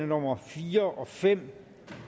nummer fire og fem